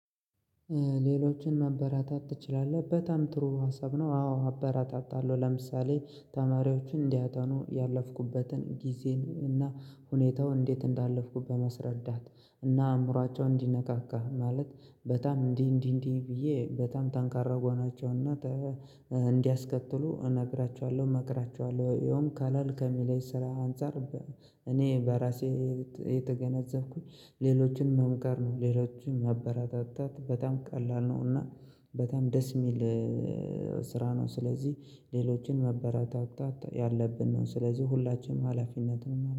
ሌሎችን ማበረታታት ትችላለህ? በጣም ጥሩ ሀሳብ ነው። አዎ አበረታታለሁ ለምሳሌ ተማሪዎችን እንዲያተኑ ያለፍኩበትን ጊዜን እና ሁኔታው እንዴት እንዳለፍኩት በማስረዳት እና አእምሯቸውን እንዲነቃቃ ማለት በጣም እንዲህ እንዲህ እንዲህ ብዬ በጣም ተንካራ መሆናቸው እና እንዲያስተካክሉ እነግራቸዋለሁ እመክራቸዋለሁ። ይኸውም ቀለል ከሚለኝ ስራ አንፃር። እኔ በራሴ የተገነዘብኩት ሌሎችን ምን ጋር ነው ሌሎችን ማበረታታት በጣም ቀላል ነው። እና በጣም ደስ የሚል ስራ ነው። ስለዚህ ሌሎችን ማበረታታት ያለብን ነው ስለዚህ የሁላችንም ሀላፊነት ነው